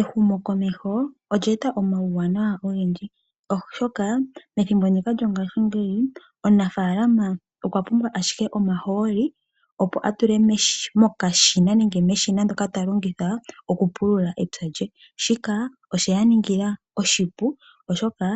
Ehumokomeho olya eta omauwanawa ogendji oshoka methimbo ndika lyongashingeyi, omunafaalama okwa pumbwa ashike omahooli, opo atule meshina ndyoka ta longitha okupulula epya lye. Shika osheya ningila oshipu oshoka